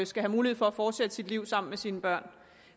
skal have mulighed for at fortsætte sit liv sammen med sine børn